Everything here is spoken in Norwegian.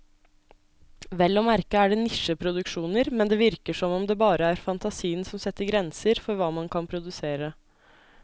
Vel å merke er det nisjeproduksjoner, men det virker som om det bare er fantasien som setter grenser for hva man kan produsere.